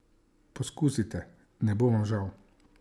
Poskusite, ne bo vam žal!